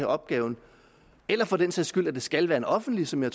opgaven eller for den sags skyld at det skal være en offentlig som jeg